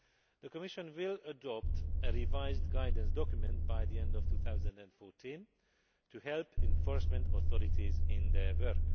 The Commission will adopt a revised guidance document by the end of 2014 to help enforcement authorities in their work.